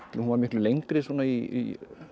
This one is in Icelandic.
hún var miklu lengri í